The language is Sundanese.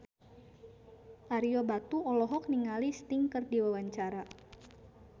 Ario Batu olohok ningali Sting keur diwawancara